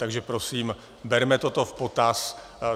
Takže prosím, berme toto v potaz.